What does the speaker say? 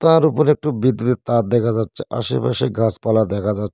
তার উপরে একটু বিদ্যুতের তার দেখা যাচ্ছে আশেপাশে গাছপালা দেখা যা --